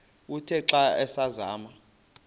uthe xa asazama